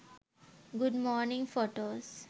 good morning photos